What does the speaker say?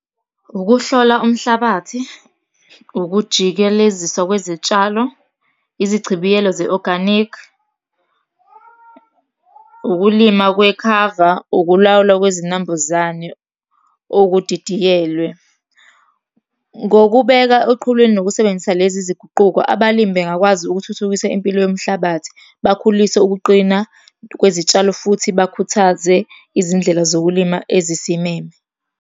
Ukuhlola umhlabathi, ukujikeleziswa kwezitshalo, izichibiyelo ze-organic, ukulima kwekhava, ukulawulwa kwezinambuzane okudidiyelwe. Ngokubeka eqhulwini nokusebenzisa lezi zinguquko, abalimi bengakwazi ukuthuthukisa impilo yomhlabathi, bakhulise ukuqina kwezitshalo, futhi bakhuthaze izindlela zokulima ezisimeme.